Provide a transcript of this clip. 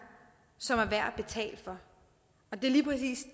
som er værd at betale for